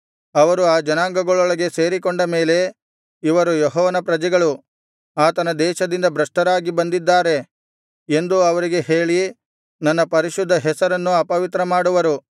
ಅವರು ಆ ಜನಾಂಗಗಳೊಳಗೆ ಸೇರಿಕೊಂಡ ಮೇಲೆ ಇವರು ಯೆಹೋವನ ಪ್ರಜೆಗಳು ಆತನ ದೇಶದಿಂದ ಭ್ರಷ್ಟರಾಗಿ ಬಂದಿದ್ದಾರೆ ಎಂದು ಅವರಿಗೆ ಹೇಳಿ ನನ್ನ ಪರಿಶುದ್ಧ ಹೆಸರನ್ನು ಅಪವಿತ್ರ ಮಾಡುವರು